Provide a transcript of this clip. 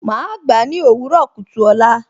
Màá gbà á ní òwúrọ̀ kùtù ọ̀la